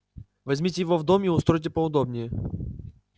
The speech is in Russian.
возьмите его в дом и устройте поудобнее